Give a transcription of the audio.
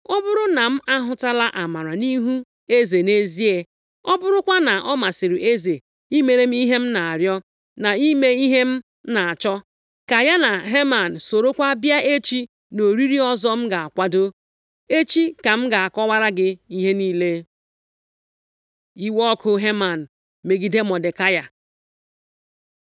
ọ bụrụ na m ahụtala amara nʼihu eze nʼezie, ọ bụrụkwa na ọ masịrị eze imere m ihe m na-arịọ, na ime ihe m na-achọ, ka ya na Heman sorokwa bịa echi nʼoriri ọzọ m ga-akwado. Echi ka m ga-akọkwara gị ihe niile.” Iwe ọkụ Heman megide Mọdekai